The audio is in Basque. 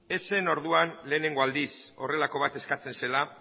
ez zen orduan lehenengo aldiz horrelako bat eskatzen zela